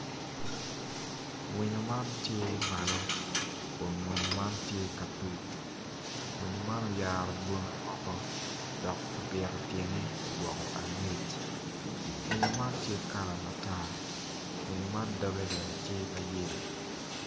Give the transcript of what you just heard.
Winyo man tye malo kun winyo man tye ka tuk winyo man oyaro bwomme woko dok ibito tyene odoko angec winyo man tye kala matar winyo man dogge bene tye ma yelo